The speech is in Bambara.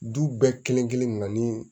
Du bɛɛ kelen kelen na na ni